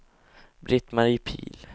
Britt-Marie Pihl